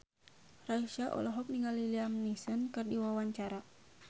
Raisa olohok ningali Liam Neeson keur diwawancara